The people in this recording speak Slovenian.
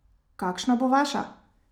Kakšna bo vaša?